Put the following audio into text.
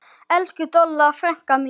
Elsku Dolla frænka mín.